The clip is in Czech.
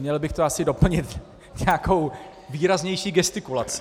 Měl bych to asi doplnit nějakou výraznější gestikulací.